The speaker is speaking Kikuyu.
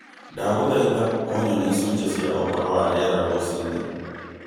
ndagũthaita ũnyonie icunjĩ cia ũhoro wa rĩera rũcinĩ